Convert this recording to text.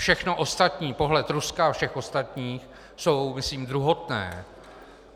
Všechno ostatní, pohled Ruska a všech ostatních, je myslím druhotné.